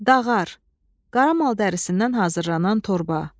Dağar, qara mal dərisindən hazırlanan torba.